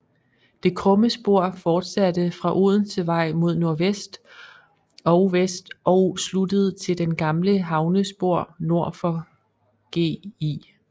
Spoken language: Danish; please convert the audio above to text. Det krumme spor fortsatte fra Odensevej mod nordvest og vest og blev sluttet til det gamle havnespor nord for Gl